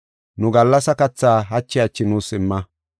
Nu gallasa kathaa hachi hachi nuus imma.